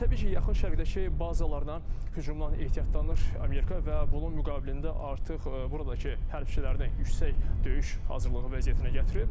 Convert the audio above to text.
Təbii ki, yaxın şərqdəki bazalarına hücumdan ehtiyatlanır Amerika və bunun müqabilində artıq buradakı hərbiçilərini yüksək döyüş hazırlığı vəziyyətinə gətirib.